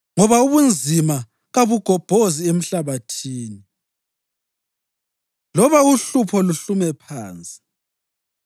Ngoba ubunzima kabugobhozi emhlabathini, loba uhlupho luhlume phansi.